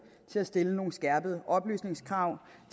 til at stille nogle skærpede oplysningskrav